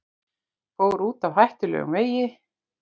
Fór út af hættulegum vegi